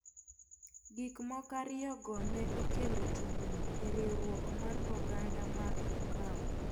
Gik moko ariyogo ne okelo tungni e riwruok mar oganda mar Ukawa.